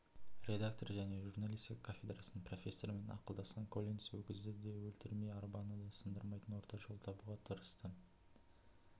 редактор және журналистика кафедрасының профессорымен ақылдасқан коллинс өгізді де өлтірмей арбаны да сындырмайтын орта жол табуға тырысты